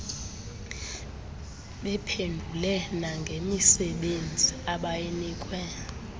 bephendule nangemisebenzi abayinikwe